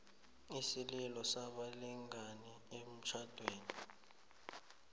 isililo sabalingani emtjhadweni